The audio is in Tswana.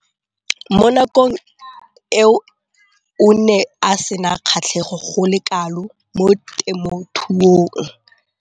Mo nakong eo o ne a sena kgatlhego go le kalo mo temothuong.